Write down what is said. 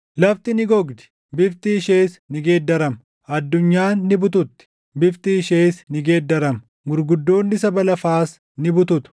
Lafti ni gogdi; bifti ishees ni geeddarama; addunyaan ni bututti; bifti ishees ni geeddarama; gurguddoonni saba lafaas ni bututu.